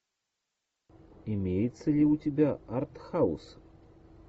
имеется ли у тебя артхаус